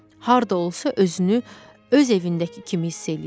Harda olsa özünü öz evindəki kimi hiss eləyirdi.